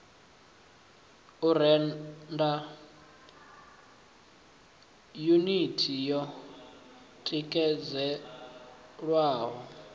u rennda yuniti yo tikedzelwaho